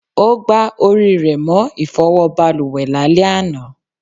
O gbà orí rẹ mọ ifowo baluwe lale àná